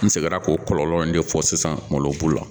N seginna k'o kɔlɔlɔw de fɔ sisan malobu la